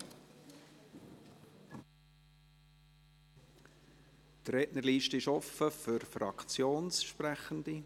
Die Rednerliste ist offen für Fraktionssprechende.